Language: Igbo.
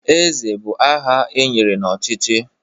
Nze bụ aha e nyere n'ọchịchị